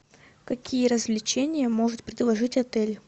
какие развлечения может предложить отель